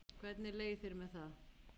Hvernig leið þér með það?